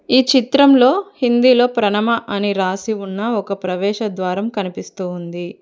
ఈ చిత్రంలో హిందీలో ప్రణమ అని రాసి ఉన్న ఒక ప్రవేశ ద్వారం కనిపిస్తూ ఉంది.